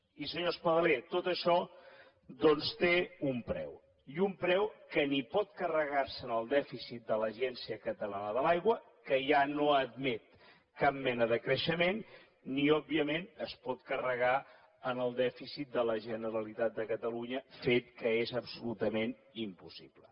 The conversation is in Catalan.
i senyor espadaler tot això doncs té un preu i un preu que ni pot carregar se en el dèficit de l’agència catalana de l’aigua que ja no admet cap mena de creixement ni òbviament es pot carregar en el dèficit de la generalitat de catalunya fet que és absolutament impossible